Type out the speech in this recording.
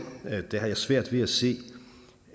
har jeg svært ved at se